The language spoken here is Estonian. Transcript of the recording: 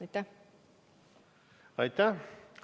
Aitäh!